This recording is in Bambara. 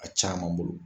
A caman bolo